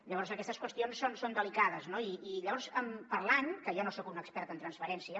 llavors aquestes qüestions són delicades no i llavors parlant que jo no soc un expert en transferència